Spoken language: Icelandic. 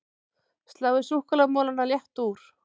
Sláið súkkulaðimolana létt úr